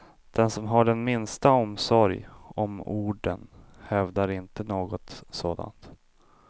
Den som har den minsta omsorg om orden hävdar inte något sådant.